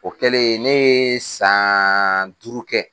O kɛlen ne ye san duuru kɛ.